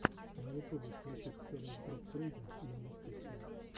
на ютубе включи ксэлиус груп трейдинг и инвестиции